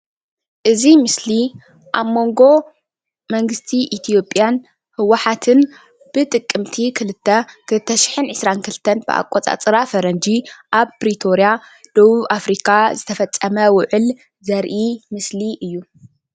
እዚ ምስሊ ኣብ መንጎ መንግስቲ ኢትዮጵያን ህወሓትን ብ ጥቅምቲ 2 2022 ዓ.ም.ፈ ኣብ ፕሪቶርያ ደቡብ ኣፍሪካ ዝተፈፀመ ውዕል ዘርኢ ምስሊ እዩ ::